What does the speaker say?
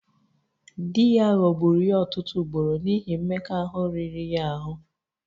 Di ya ghọgburu ya ọtụtụ ugboro n'ihi mmekọahụ riri ya ahụ